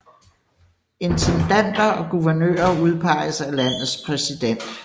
Intendanter og guvernører udpeges af landets præsident